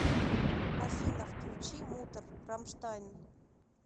афина включи муттер рамштайн